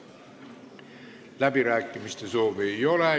Läbirääkimiste soovi ei ole.